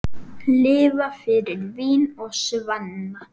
Lifa fyrir vín og svanna.